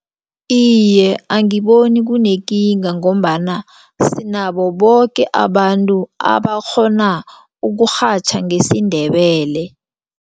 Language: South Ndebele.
Iye, angiboni kunekinga ngombana sinabo boke abantu abakghona ukurhatjha ngesiNdebele.